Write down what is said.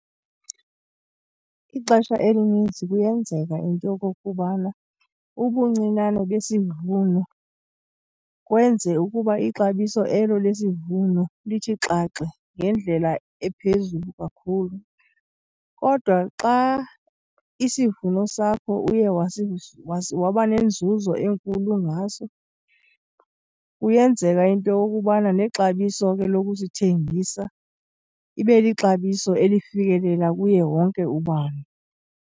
Ixesha elininzi kuyenzeka into yokokubana ubuncinane besivuno kwenze ukuba ixabiso elo lesivuno lithi xaxe ngendlela ephezulu kakhulu, kodwa xa isivuno sakho uye waba nenzuzo enkulu ngaso kuyenzeka into yokubana nexabiso ke lokusithengisa ibe lixabiso elifikelela kuye wonke ubani.